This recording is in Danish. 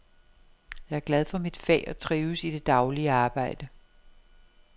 Jeg er glad for mit fag og trives i det daglige arbejde.